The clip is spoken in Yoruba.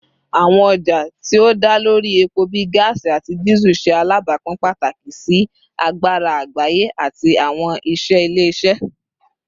Awọn ọja ti o da lori epo bii gaasi ati Diesel ṣe alabapin pataki si agbara agbaye ati awọn iṣẹ ile-iṣẹ